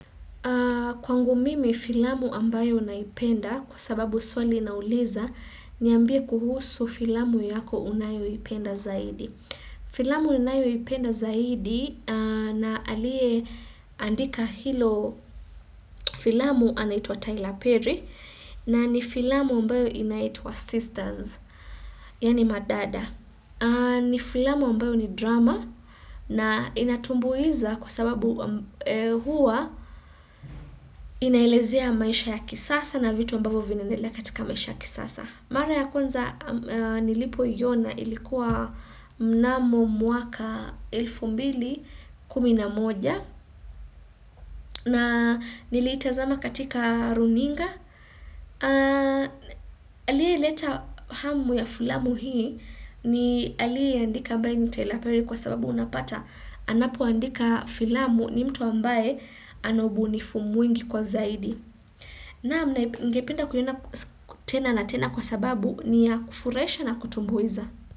Kwangu mimi filamu ambayo naipenda kwa sababu swali inauliza, niambie kuhusu filamu yako unayoipenda zaidi. Filamu ninayoipenda zaidi na aliyeandika hilo filamu anaitwa Tyler Perry na ni filamu ambayo inaitwa Sisters, yaani Madada. Ni filamu ambayo ni drama na inatumbuiza kwa sababu huwa inaelezea maisha ya kisasa na vitu ambavyo vinaendelea katika maisha ya kisasa. Mara ya kwanza nilipoiona ilikuwa mnamo mwaka elfu mbili kumi na moja na niliitazama katika runinga. Aliyeleta hamu ya filamu hii ni aliyeiandika ambae ni Tyler Perry kwa sababu unapata anapoandika filamu ni mtu ambae ana ubunifu mwingi kwa zaidi naam na ningependa kuiona tena na tena kwa sababu ni ya kufuraisha na kutumbuiza.